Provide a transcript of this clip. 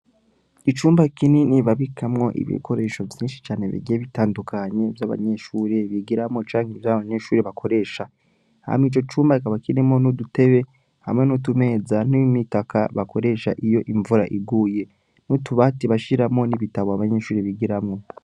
Icumba kinini babikamwo ibikoresho vyinshi cane bigiye bitandukanye vy'abanyeshure, bigiramwo canke vy'abanyeshure bakoresha, hama ico cumba kikaba kirimwo n'udutebe hamwe n'utumeza n'imitaka, bakoresha iyo imvura iguye, n'utubati bashiramwo ibitabo abanyeshure bigiramwo.